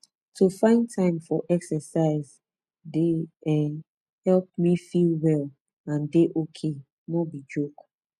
to find time for exercise dey um help me me feel well and dey ok no be joke